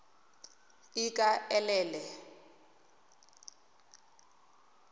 ikaelele